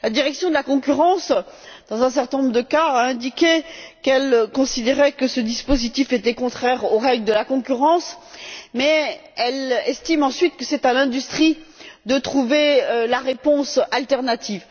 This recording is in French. La Direction de la concurrence, dans un certain nombre de cas, a indiqué qu'elle considérait que ce dispositif était contraire aux règles de la concurrence, mais elle estime ensuite que c'est à l'industrie de trouver la réponse alternative.